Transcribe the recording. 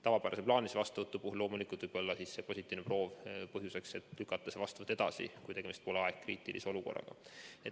Tavapärase plaanilise vastuvõtu puhul võib positiivne proov olla loomulikult põhjuseks, miks lükata ravi edasi, kui tegemist pole aegkriitilise olukorraga.